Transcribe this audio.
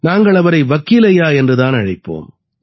நாங்கள் அவரை வக்கீல் ஐயா என்று தான் அழைப்போம்